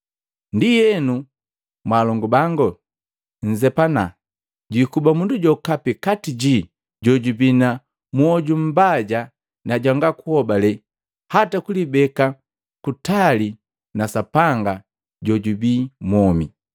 Ndienu mwaalongu bango, nzepana jwikuba mundu jokapi kati jii jojubii na mwoju mbaja na jwanga kuhobale hata kulibeka kutali na Sapanga jojubii mwomi.